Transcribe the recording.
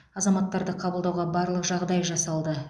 азаматтарды қабылдауға барлық жағдай жасалды